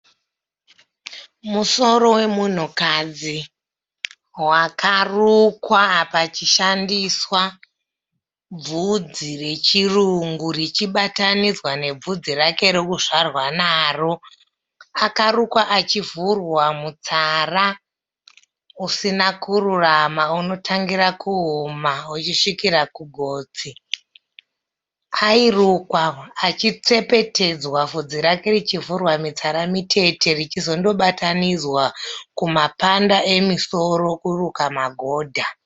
Musoro wemunhukadzi wakarukwa pachishandiswa bvudzi rechirungu richibatanidzwa ne bvudzi rake rekuzvarwa naro. Akarukwa achivhurwa mutsara usina kururama unotangira kuhuma uchisvikira kugotsi. Airukwa achi tsepetedzwa bvudzi rake richivhurwa mitsara mitete richi zondo batanidzwa kuma panda emusoro kuruka magodha.